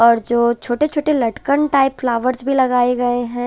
और जो छोटे -छोटे लटकन टाइप फ्लावर्स भी लगाए गए हैं।